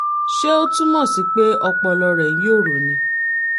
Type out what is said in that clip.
ṣé ó túmọ̀ sí pé ọpọlọ rẹ̀ ń yòrò ni?